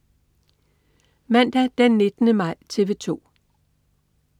Mandag den 19. maj - TV 2: